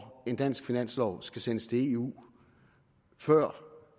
en dansk finanslov skal sendes til eu før